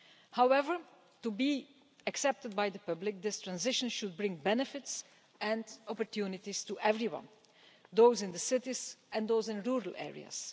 However, to be accepted by the public this transition should bring benefits and opportunities to everyone those in the cities and those in rural areas.